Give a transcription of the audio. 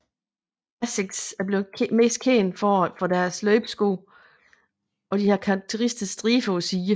Asics er blevet mest kendt for deres løbesko der har de karakteristiske striber på siderne